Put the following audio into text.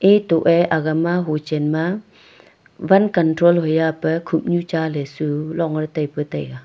etoh ley aga ma ho chen ma wan control hoi e pe khup nu cha le .]